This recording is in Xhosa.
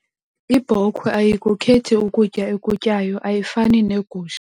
Ibhokhwe ayikukhethi ukutya ekutyayo ayifani negusha.